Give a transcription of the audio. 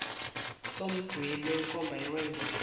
somdwebo wenkomba yokwenzeka